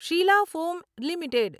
Sheila foam limited